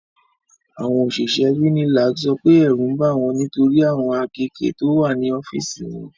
Àwọn òṣìṣẹ́ UNILAG sọ pé ẹ̀rù ń bà wọ́n nitori awon akéèké to wa ní ọ́fíìsì wọn.